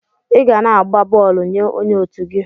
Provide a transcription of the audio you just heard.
Iga na agba bọọlụ nye onye otu gi.